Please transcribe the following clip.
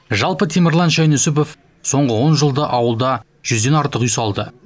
жалпы темірлан шайнүсіпов соңғы он жылда ауылда жүзден артық үй салды